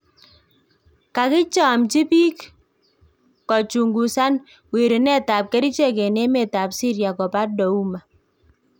Kakichamchi biik kochungusan wirunet ab kerichek en emet ab Syria koba Douma